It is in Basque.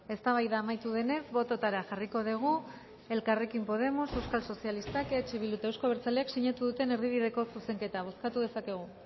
eztabaida amaitu denez bototara jarriko dugu elkarrekin podemos euskal sozialistak eh bildu eta euzko abertzaleak sinatu duten erdibideko zuzenketa bozkatu dezakegu